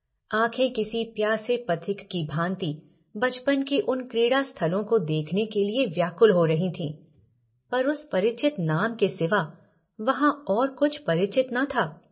आँखें किसी प्यासे पथिक की भाँति बचपन के उन क्रीड़ा स्थलों को देखने के लिए व्याकुल हो रही थीं पर उस परिचित नाम के सिवा वहाँ और कुछ परिचित न था।